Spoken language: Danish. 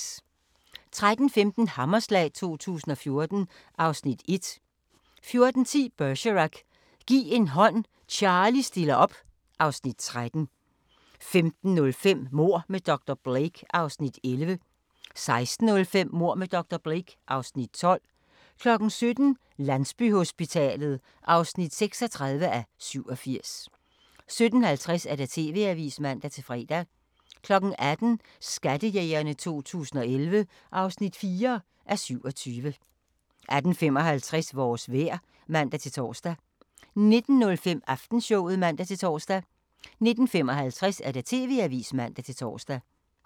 13:15: Hammerslag 2014 (Afs. 1) 14:10: Bergerac: Giv en hånd, Charlie stiller op (Afs. 13) 15:05: Mord med dr. Blake (Afs. 11) 16:05: Mord med dr. Blake (Afs. 12) 17:00: Landsbyhospitalet (36:87) 17:50: TV-avisen (man-fre) 18:00: Skattejægerne 2011 (4:27) 18:55: Vores vejr (man-tor) 19:05: Aftenshowet (man-tor) 19:55: TV-avisen (man-tor)